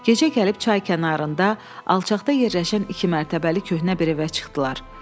Gecə gəlib çay kənarında alçaqda yerləşən iki mərtəbəli köhnə bir evə çıxdılar.